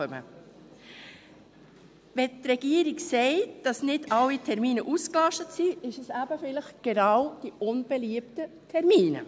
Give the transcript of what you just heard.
Wenn die Regierung sagt, dass nicht alle Termine ausgelastet seien, dann sind es eben vielleicht gerade die unbeliebten Termine.